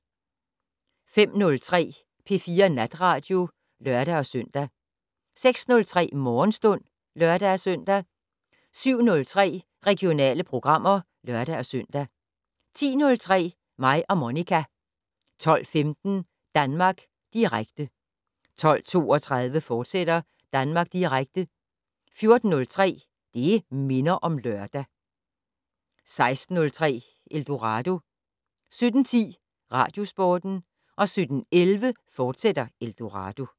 05:03: P4 Natradio (lør-søn) 06:03: Morgenstund (lør-søn) 07:03: Regionale programmer (lør-søn) 10:03: Mig og Monica 12:15: Danmark Direkte 12:32: Danmark Direkte, fortsat 14:03: Det' Minder om Lørdag 16:03: Eldorado 17:10: Radiosporten 17:11: Eldorado, fortsat